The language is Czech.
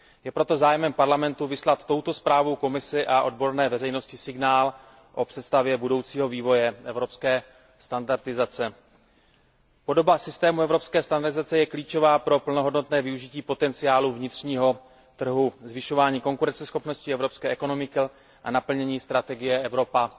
Je proto zájmem Parlamentu vyslat touto zprávou Komisi a odborné veřejnosti signál o představě budoucího vývoje evropské standardizace. Podoba systému evropské standardizace je klíčová pro plnohodnotné využití potenciálu vnitřního trhu, zvyšování konkurenceschopnosti evropské ekonomiky a naplnění strategie Evropa